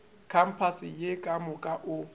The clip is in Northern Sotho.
kampase ye ka moka o